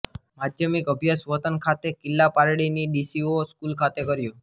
માધ્યમિક અભ્યાસ વતન ખાતે કિલ્લા પારડીની ડી સી ઓ સ્કૂલ ખાતે કર્યો